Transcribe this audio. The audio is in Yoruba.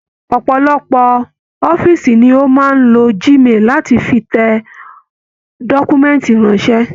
Ọpọlọpọ ọ̀fiísí ni o máa n lo Gmail láti fí tẹ dọkumẹ̀ntí ránṣẹ.